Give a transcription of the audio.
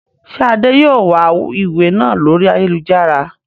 Ṣé Adé yìí ó wà ìwé náà lórí ayélujára?